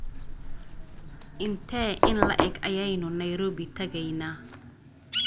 Intee in le'eg ayaynu Nairobi tagaynaa?